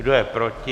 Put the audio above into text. Kdo je proti?